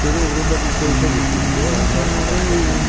Sürü uğrunda biz döyüşə giririk deyə onlar ulaşırdılar.